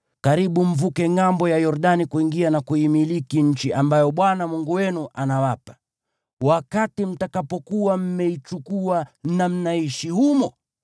Karibu mvuke ngʼambo ya Yordani kuingia na kuimiliki nchi ambayo Bwana Mungu wenu anawapa. Wakati mtakapokuwa mmeichukua na mnaishi humo,